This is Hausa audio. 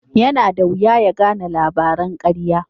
Yana da wuya ya gane labaran karya.